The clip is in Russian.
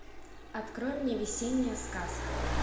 открой мне весенняя сказка